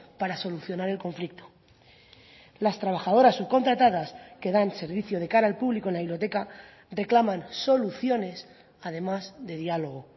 para solucionar el conflicto las trabajadoras subcontratadas que dan servicio de cara al público en la biblioteca reclaman soluciones además de diálogo